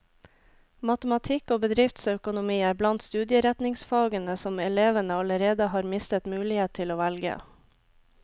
Matematikk og bedriftsøkonomi er blant studieretningsfagene som elevene allerede har mistet mulighet til å velge.